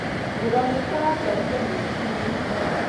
Mũrũ wa maitũ aratwarithia mũithikiri na ihenya